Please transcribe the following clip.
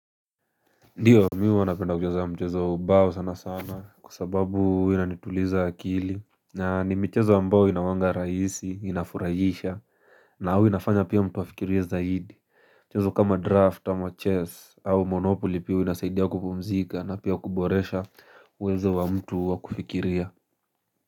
Ndio mi huwa napenda kuchezo wa mchezo wa ubao sana sana kwa sababu huwa inanituliza akili na ni mchezo ambao inakuwanga rahisi inafurahisha na huwa inafanya pia mtu afikirie zaidi mchezo kama draft ama chess au monopoly pia huwa inasaidia kupumzika na pia kuboresha uwezo wa mtu wa kufikiria.